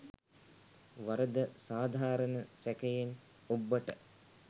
වරද සාධාරණ සැකයෙන් ඔබ්බට